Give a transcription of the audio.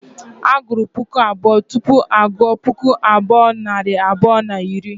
E gụrụ puku abụọ tupu a gụọ puku abụọ nari abụọ na iri